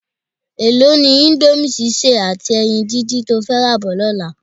Èló ni íńdómì sísè àti ẹyin díndín to fẹ́ rà bọ̀ lọ́la?